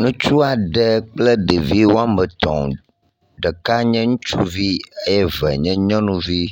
Nutsuaɖe kple ɖeviwoametɔ̃, ɖeka nye ŋutsuvi eye ve nye nyɔnuvi,